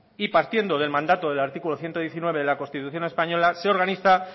y partiendo del mandato del artículo ciento diecinueve de la constitución española se organiza